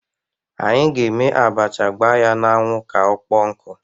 Anyị ga-eme abacha gbaa ya n'anwụ ka ọkpọọ nkụ.